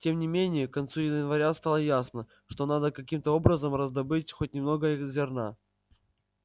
тем не менее к концу января стало ясно что надо каким-то образом раздобыть хоть немного зерна